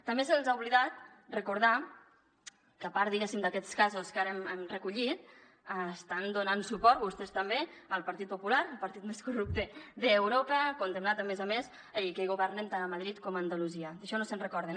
també se’ls ha oblidat recordar que a part d’aquests casos que ara hem recollit estan donant suport vostès també al partit popular el partit més corrupte d’europa condemnat a més a més i amb qui governen tant a madrid com a andalusia d’això no se’n recorden